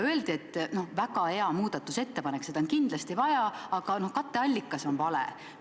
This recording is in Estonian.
Öeldi, et väga hea muudatusettepanek, seda on kindlasti vaja, aga katteallikas on vale.